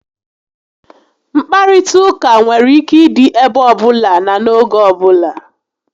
Nkparịta ụka nwere ike ịdị ebe ọbụla na n'oge ọbula